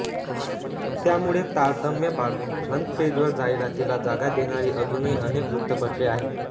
त्यामुळे तारतम्य बाळगून फ्रंट पेजवर जाहिरातीला जागा देणारी अजूनही अनेक वृत्तपत्रे आहेत